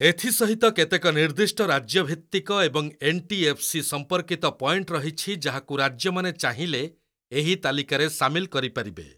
ଏଥି ସହିତ କେତେକ ନିର୍ଦ୍ଦିଷ୍ଟ ରାଜ୍ୟଭିତ୍ତିକ ଏବଂ ଏନ୍‌.ଟି.ଏଫ୍‌.ସି. ସଂପର୍କୀତ ପଏଣ୍ଟ ରହିଛି ଯାହାକୁ ରାଜ୍ୟମାନେ ଚାହିଁଲେ ଏହି ତାଲିକାରେ ସାମିଲ କରିପାରିବେ।